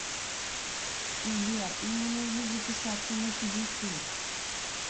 сбер мне нужно записаться на педикюр